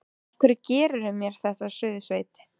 Af hverju gerirðu mér þetta, Suðursveit!